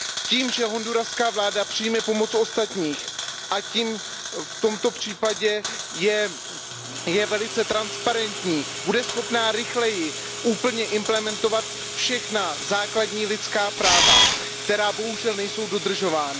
Tím, že honduraská vláda přijme pomoc ostatních jako v tomto případě, je velice transparentní, bude schopna rychleji úplně implementovat všechna základní lidská práva, která bohužel nejsou dodržována.